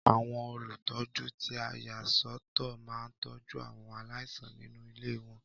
Àwọn olùtọ́jú tí a yà sọ́ tọ̀ máa ń tọ́jú àwọn aláìsàn nínú ilé wọn.